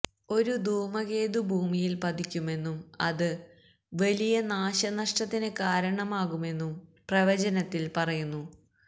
ഒരു ധൂമകേതു ഭൂമിയില് പതിക്കുമെന്നും അത് വലിയ നാശ നഷ്ടത്തിന് കാരണമാകുമെന്നും പ്രവചനത്തില് പറയുന്നു